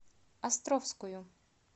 островскую